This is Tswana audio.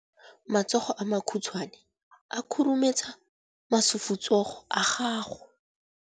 matsogo a makhutshwane a khurumetsa masufutsogo a gago